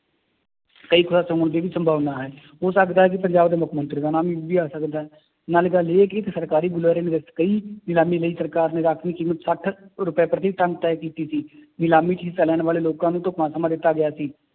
ਕਈ ਖੁਲਾਸੇ ਹੋਣ ਦੀ ਵੀ ਸੰਭਾਵਨਾ ਹੈ ਹੋ ਸਕਦਾ ਹੈ ਕਿ ਪੰਜਾਬ ਦੇ ਮੁੱਖ ਮੰਤਰੀ ਦਾ ਨਾਮ ਵੀ ਆ ਸਕਦਾ ਹੈ, ਨਾਲੇ ਗੱਲ ਇਹ ਕਿ ਇੱਕ ਸਰਕਾਰੀ ਬੁਲਾਰੇ ਦੇ ਵਿੱਚ ਕਈ ਨਿਲਾਮੀ ਲਈ ਸਰਕਾਰ ਨੇ ਰਾਂਖਵੀ ਕੀਮਤ ਸੱਠ ਰੁਪਏ ਪ੍ਰਤੀ ਟੱਨ ਤੈਅ ਕੀਤੀ ਸੀ ਨਿਲਾਮੀ ਚ ਹਿੱਸਾ ਲੈਣ ਵਾਲੇ ਲੋਕਾਂ ਨੂੰ ਢੁੱਕਵਾਂ ਸਮਾਂ ਦਿੱਤਾ ਗਿਆ ਸੀ